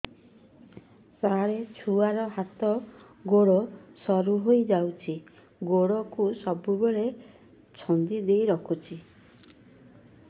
ସାର ଛୁଆର ହାତ ଗୋଡ ସରୁ ହେଇ ଯାଉଛି ଗୋଡ କୁ ସବୁବେଳେ ଛନ୍ଦିଦେଇ ରଖୁଛି